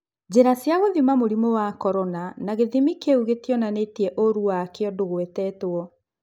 Njĩra cia gũthima mũrimũ wa Korona na gĩthĩmi kĩu gĩtionanĩtie ũrũ wakĩo ndũgwetetwo.